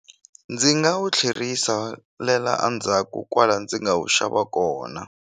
Ndzi nga wu tlherisa le la endzhaku kwala ndzi nga wu xava kona.